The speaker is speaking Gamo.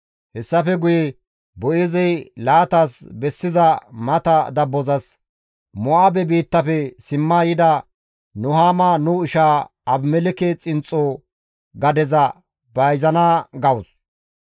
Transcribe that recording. Hessafe guye Boo7eezey laatas bessiza mata dabbozas, «Mo7aabe biittafe simma yida Nuhaama nu ishaa Abimelekke xinxxo gadeza bayzana gawus.